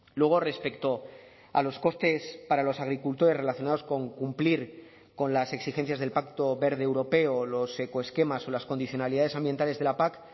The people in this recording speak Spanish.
luego respecto a los costes para los agricultores relacionados con cumplir con las exigencias del pacto verde europeo o los ecoesquemas o las condicionalidades ambientales de la pac